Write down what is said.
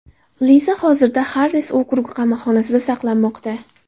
Liza hozirda Xarris okrugi qamoqxonasida saqlanmoqda.